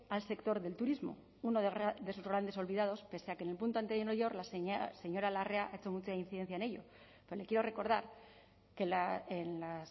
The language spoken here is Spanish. al sector del turismo uno de los grandes olvidados pese a que en el punto anterior la señora larrea ha hecho mucha incidencia en ello pero le quiero recordar que en las